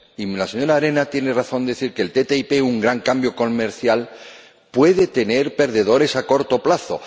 Y la señora Arena tiene razón al decir que la ATCI, un gran cambio comercial, puede tener perdedores a corto plazo.